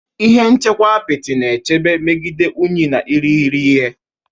Ihe nchekwa apịtị na-echebe megide unyi na irighiri ihe.